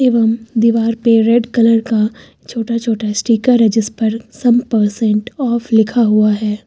एवं दीवार पे रेड कलर का छोटा छोटा स्टीकर है जिस पर सम परसेंट ऑफ लिखा हुआ है।